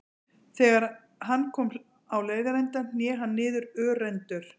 Þegar hann kom á leiðarenda hné hann niður örendur.